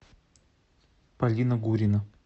полина гурина